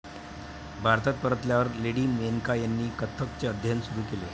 भारतात परतल्यावर लेडी मेनका ह्यांनी कथ्थकचे अध्ययन सुरु केले.